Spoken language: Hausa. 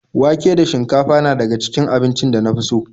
Wake da shinkafa na daga cikin abincin da na fi so.